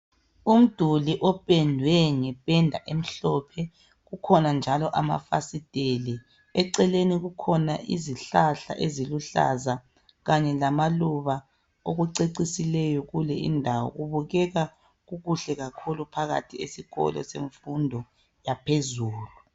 Umduli opendwe ngependa emhlophe, kukhona njalo amafasiteli. Eceleni kukhona isihlahla eziluhlaza kanye lamaluba, okucecisileyo kulindawo. Kubukeka kukuhle kakhulu phakathi esikolo semfundo yaphezulu.